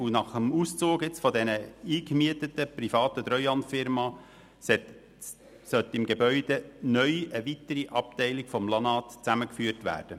Nach dem Auszug der eingemieteten, privaten Treuhandfirma soll im Gebäude neu eine weitere Abteilung des LANAT zusammengeführt werden.